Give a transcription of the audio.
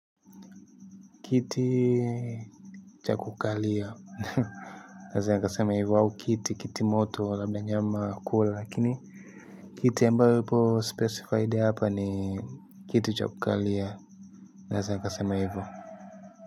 Kiti cha kukalia naeza nikasema hivyo au kiti, kiti moto labda nyama kula lakini kiti ya ambayo ipo specified hapa ni kiti cha kukalia naeza nikasema hivo.